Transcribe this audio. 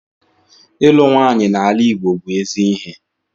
Ịlụ nwanyị n'ala Igbo bú ezi ihe